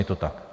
Je to tak?